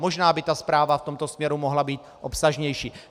Možná by ta zpráva v tomto směru mohla být obsažnější.